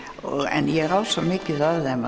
en ég á svo mikið af þeim